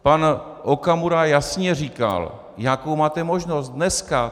Pan Okamura jasně říkal, jakou máte možnost, dneska.